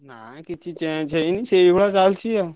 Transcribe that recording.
ନାଇଁ କିଛି change ହେଇନି ସେଇଭଳିଆ ଚାଲଚି ଆଉ।